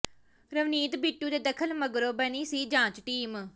ਰਵਨੀਤ ਬਿੱਟੂ ਦੇ ਦਖ਼ਲ ਮਗਰੋਂ ਬਣੀ ਸੀ ਜਾਂਚ ਟੀਮ